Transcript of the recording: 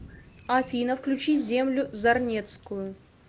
афина включи землю зарнецкую